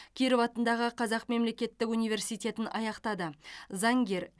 киров атындағы қазақ мемлекеттік университетін аяқтады заңгер